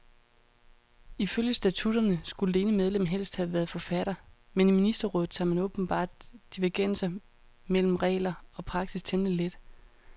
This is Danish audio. Ifølge statutterne skulle det ene medlem helst have været forfatter, men i ministerrådet tager man åbenbart divergenser mellem regler og praksis temmelig let.